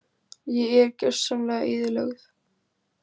Ég er gjörsamlega eyðilögð.